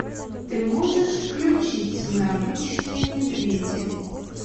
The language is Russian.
ты можешь включить мы обычные медведи